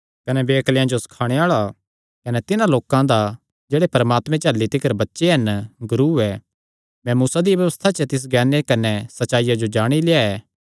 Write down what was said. कने वेअक्लेयां जो सखाणे आल़ा कने तिन्हां लोकां दा जेह्ड़े परमात्मे च अह्ल्ली तिकर बच्चे हन गुरू ऐ तैं मूसा दिया व्यबस्था च तिस ज्ञाने कने सच्चाईया जो जाणी लेआ ऐ